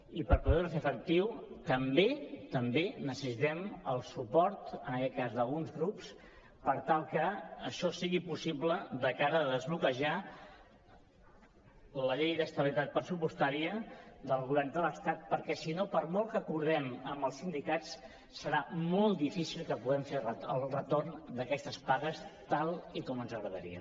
i per poder ho fer efectiu també necessitem el suport en aquest cas d’alguns grups per tal que això sigui possible de cara a desbloquejar la llei d’estabilitat pressupostària del govern de l’estat perquè si no per molt que acordem amb els sindicats serà molt difícil que puguem fer el retorn d’aquestes pagues tal com ens agradaria